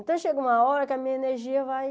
Então, chega uma hora que a minha energia vai...